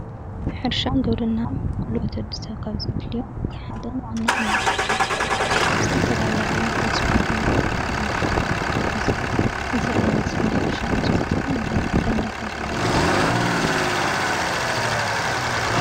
ኅርሻንገብርና ጉልበት ወድሰብ ካብ ዘድልዮ ተሓደን ዋዓናን እዮም ዝተፈላለይ ዓይነት ዕጽዋት ድማ በውሽዱ ይሕዝ እዝ ዓይነት ናይ ኅርሻ ዕፅዋትካ ተይ ናዳተብሃለ ይፅዋእ::